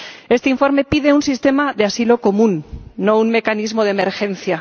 Este informe pide un sistema de asilo común, no un mecanismo de emergencia.